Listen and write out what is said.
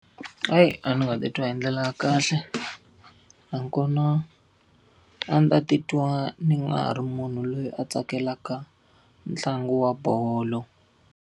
Ayi a ndzi nga ta titwa hi ndlela ya kahle. Nakona, a ndzi ta titwa ni nga ha ri munhu loyi a tsakelaka ntlangu wa bolo.